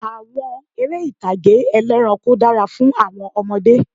Àwọn eré ìtàgé ti ẹlẹ́ranko dára fún àwọn ọmọdé